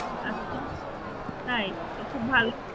আচ্ছা তাই তো খুব ভালো